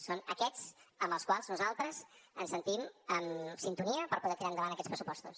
són aquests amb els quals nosaltres ens sentim en sintonia per poder tirar endavant aquests pressupostos